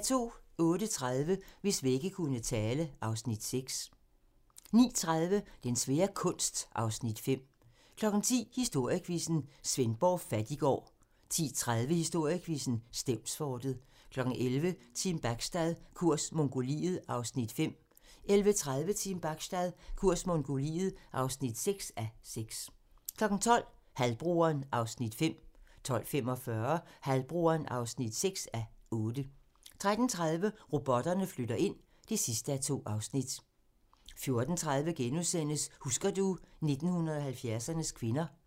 08:30: Hvis vægge kunne tale (Afs. 6) 09:30: Den svære kunst (Afs. 5) 10:00: Historiequizzen: Svendborg Fattiggård 10:30: Historiequizzen: Stevnsfortet 11:00: Team Bachstad - kurs Mongoliet (5:6) 11:30: Team Bachstad - kurs Mongoliet (6:6) 12:00: Halvbroderen (5:8) 12:45: Halvbroderen (6:8) 13:30: Robotterne flytter ind (2:2) 14:30: Husker du ... 1970'ernes kvinder *